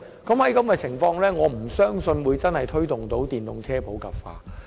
這樣的話，我實在難以相信我們能真正推動電動車普及化。